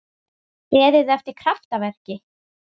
Beðið eftir kraftaverki?